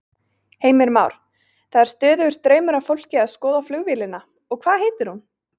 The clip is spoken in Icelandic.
Heimir Már: Það er stöðugur straumur af fólki að skoða flugvélina og hvað heitir hún?